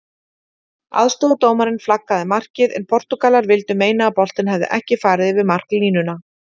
Aðstoðardómarinn flaggaði markið en Portúgalar vildu meina að boltinn hefði ekki farið yfir marklínuna.